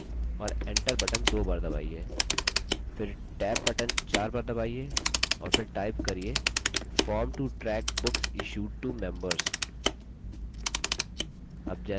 फिर tab button 4 बार दबाइए और फिर type करिये form to track books issued to members